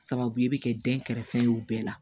Sababu ye bɛ kɛ dɛnkɛrɛfɛ ye o bɛɛ la